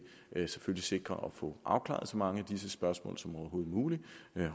sikre at vi får afklaret så mange af disse spørgsmål som overhovedet muligt